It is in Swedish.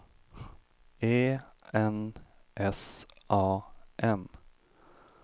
E N S A M